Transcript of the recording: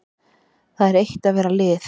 Það er eitt að vera lið.